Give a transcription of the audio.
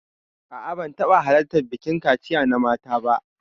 A'a, ban taɓa halartar bikin kaciya na mata ba.